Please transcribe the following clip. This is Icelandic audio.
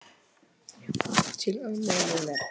Til ömmu minnar.